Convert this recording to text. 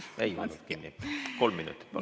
Kolm minutit, palun!